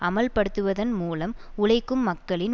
அமல்படுத்துவதன் மூலம் உழைக்கும் மக்களின்